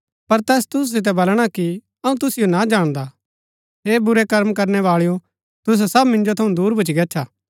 पर तैस तुसु सितै बलणा कि अऊँ तुसिओ ना जाणदा हे बुरै कर्म करनै बाळैओ तुसै सब मिन्जो थऊँ दूर भूच्ची गच्छा